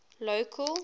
local